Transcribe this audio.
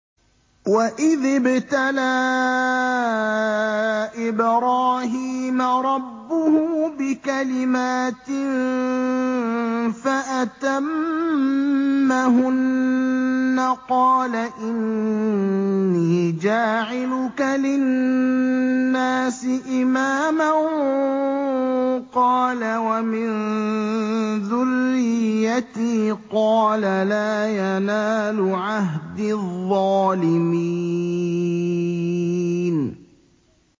۞ وَإِذِ ابْتَلَىٰ إِبْرَاهِيمَ رَبُّهُ بِكَلِمَاتٍ فَأَتَمَّهُنَّ ۖ قَالَ إِنِّي جَاعِلُكَ لِلنَّاسِ إِمَامًا ۖ قَالَ وَمِن ذُرِّيَّتِي ۖ قَالَ لَا يَنَالُ عَهْدِي الظَّالِمِينَ